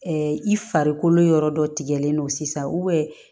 i farikolo yɔrɔ dɔ tigɛlen don sisan